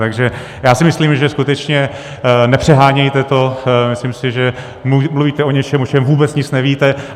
Takže já si myslím, že skutečně nepřehánějte to, myslím si, že mluvíte o něčem, o čem vůbec nic nevíte.